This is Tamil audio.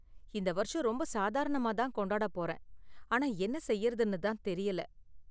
இந்த வருஷம் ரொம்ப சாதாரணமா தான் கொண்டாட போறேன், ஆனா என்ன செய்யறதுன்னு தான் தெரியல.